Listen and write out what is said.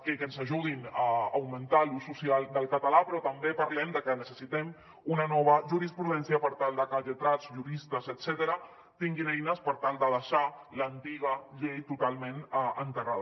que ens ajudin a augmentar l’ús social del català però també parlem de que necessitem una nova jurisprudència per tal de que lletrats juristes etcètera tinguin eines per tal de deixar l’antiga llei totalment enterrada